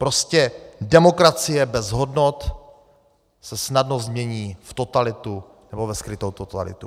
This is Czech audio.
Prostě demokracie bez hodnot se snadno změní v totalitu, nebo ve skrytou totalitu.